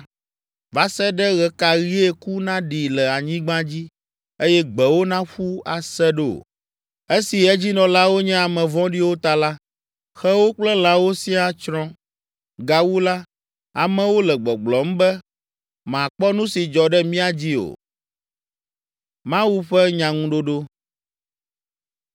Va se ɖe ɣe ka ɣie ku naɖi le anyigba dzi eye gbewo naƒu ase ɖo? Esi edzinɔlawo nye ame vɔ̃ɖiwo ta la, xewo kple lãwo siaa tsrɔ̃. Gawu la, amewo le gbɔgblɔm be, “Makpɔ nu si dzɔ ɖe mía dzi o.”